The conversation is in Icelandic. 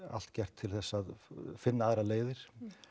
allt gert til þess að finna aðrar leiðir